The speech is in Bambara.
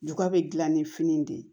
Juga be gilan ni fini de ye